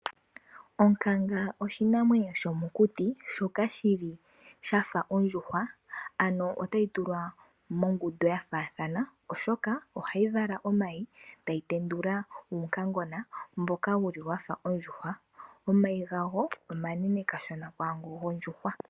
Onkanga oshinamwenyo shomokuti shoka shi li shafa ondjuhwa, ano otayi tulwa mongundu ya faathana oshoka ohayi vala omayi, e tayi tendula uunkangona mboka wuli wafa ondjuhwa. Omayi gawo omanene kashona kwaango gondjuhwa.